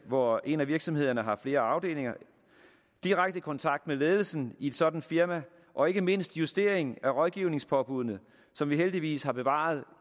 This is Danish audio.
hvor en af virksomhederne har flere afdelinger direkte kontakt med ledelsen i et sådant firma og ikke mindst justering af rådgivningspåbuddene som vi heldigvis har bevaret